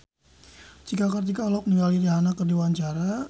Cika Kartika olohok ningali Rihanna keur diwawancara